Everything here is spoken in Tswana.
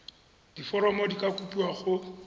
diforomo di ka kopiwa go